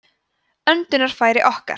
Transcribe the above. öndunarfæri okkar